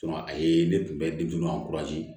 a ye ne kunbɛn denmisɛnw ka